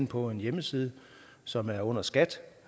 på en hjemmeside som er under skat